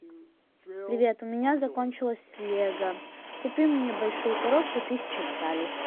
привет у меня закончилось лего купи мне большую коробку тысяча деталей